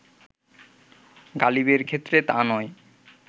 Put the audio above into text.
গালিবের ক্ষেত্রে তা নয়